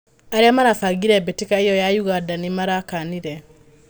Arĩa marabangire mbĩtĩka ĩo ya Ũganda nĩmarakanire.